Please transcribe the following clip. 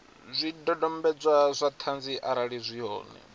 zwidodombedzwa zwa ṱhanzi arali zwi hone